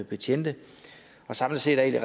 betjente og samlet set er jeg